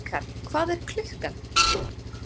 Eikar, hvað er klukkan?